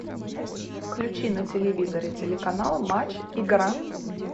включи на телевизоре телеканал матч игра